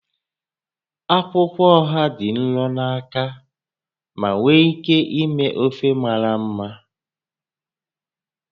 Akwụkwọ oha dị nro na aka ma nwee ike ime ofe mara mma